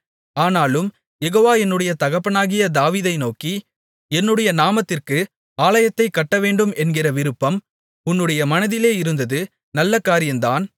ஆனாலும் யெகோவா என்னுடைய தகப்பனாகிய தாவீதை நோக்கி என்னுடைய நாமத்திற்கு ஆலயத்தைக் கட்டவேண்டும் என்கிற விருப்பம் உன்னுடைய மனதிலே இருந்தது நல்ல காரியந்தான்